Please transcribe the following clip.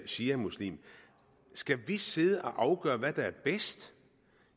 shiamuslimsk skal vi sidde og afgøre hvad der er bedst